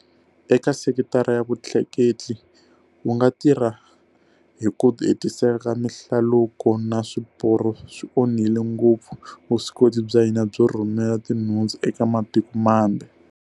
Eka sekitara ya vutleketli, ku nga tirhi hi ku hetiseka ka mihlaluko na swiporo swi onhile ngopfu vuswikoti bya hina byo rhumela tinhundzu eka matiko mambe.